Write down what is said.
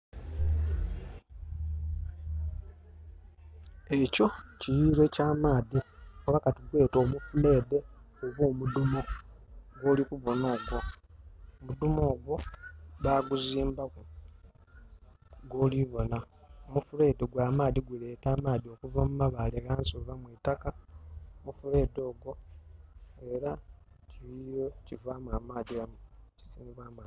Ekyo kiyiriro ekya maadhi. Oba katugwete omufuleedhe oba omudumo, gwoli kubonha ogwo. Omudhumo ogwo baguzimbaku, gwoli bona. Omufuleedhe gwa maadhi guleeta amaadhi okuva mu mabaale ghansi oba mwi itakka. Omufuleedhe ogwo era kiyiriro kivaamu amaadhi, ekisenebwamu amaadhi.